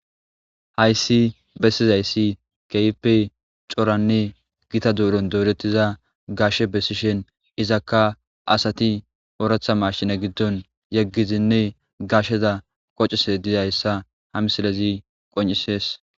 Hayssi bessizayssi keype coranne gita duuron dourettiza gashshe bessishen izakka asati ooratha mashine giddon yeggizinne gashsheza qocese dizayssa ha misalezi qon'isees.